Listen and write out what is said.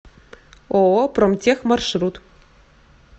ооо промтех маршрут